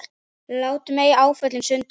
Látum ei áföllin sundra okkur.